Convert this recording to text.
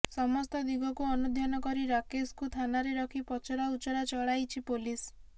ସମସ୍ତ ଦିଗକୁ ଅନୁଧ୍ୟାନ କରି ରାକେଶକୁ ଥାନାରେ ରଖି ପଚରା ଉଚରା ଚଳାଇଛି ପୋଲିସ